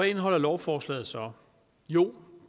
indeholder lovforslaget så jo